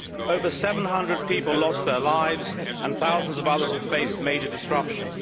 Over 700 people lost their lives and thousands of others have faced major disruption.